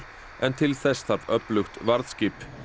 en til þess þarf öflugt varðskip